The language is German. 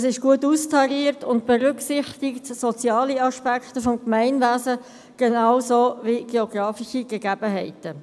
Es ist gut austariert und berücksichtigt die sozialen Aspekte des Gemeinwesens genauso wie die geografischen Gegebenheiten.